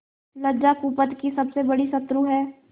लज्जा कुपथ की सबसे बड़ी शत्रु है